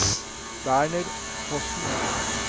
Werner Fossen